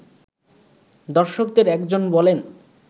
দর্শকদের একজন বলেন